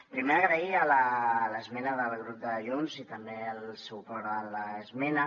primer agrair l’esmena del grup de junts i també el suport a l’esmena